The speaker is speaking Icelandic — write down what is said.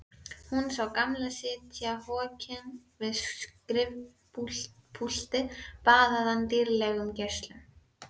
Hún sá Gamla sitja hokinn við skrifpúltið baðaðan dýrlegum geislum.